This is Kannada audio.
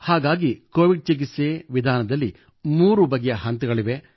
ಹಾಗಾಗಿ ಕೋವಿಡ್ ಚಿಕಿತ್ಸೆ ವಿಧಾನದಲ್ಲಿ 3 ಬಗೆಯ ಹಂತಗಳಿವೆ